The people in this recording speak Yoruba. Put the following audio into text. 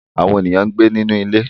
Àwọn èèyàn ń gbé nínú ilé